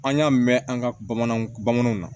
An y'a mɛn an ka bamananw bamananw na